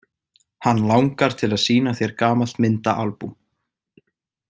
Hann langar til að sýna þér gamalt myndaalbúm.